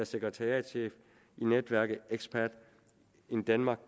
sekretariatschef i netværket expat in denmark